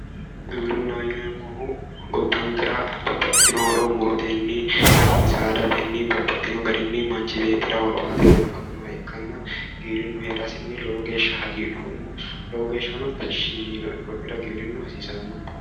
Giwirinnaho yineemmohu gobankera babaxitino horo murotenni ii saadatenni babaxino garinni manchi beettira horo aatenni afaminoha ikanna giwirinnu heerasinni lowo geeshsha hagidhoommo lowo geeshshano tashshi yiinoe konnira giwirinnu hasiissanno